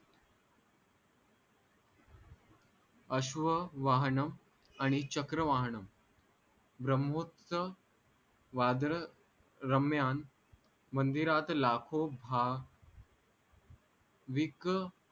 अश्व वाहणम आणि चक्र वाहणम ब्रामोत्स वादळ रम्यान मंदिरात लाखो भा वीक